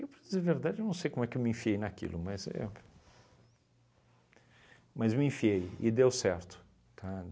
Eu, para dizer a verdade, eu não sei como eu me enfiei naquilo, mas eu, mas me enfiei e deu certo, tá?